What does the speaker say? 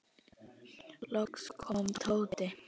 Loks kom Tóti.